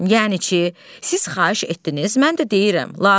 yəni ki, siz xahiş etdiniz, mən də deyirəm lazım deyil.